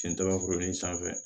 Sen daba foro in sanfɛ